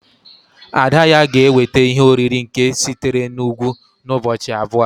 ada-ya gēweta ihe-oriri nke sitere n'Ugwu n'ubọchi abua